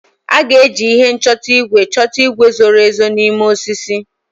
A ga-eji ihe nchọta igwe chọta igwe zoro ezo n'ime osisi.